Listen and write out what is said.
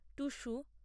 Tusu